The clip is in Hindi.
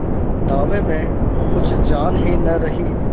दावे में कुछ जान ही न रही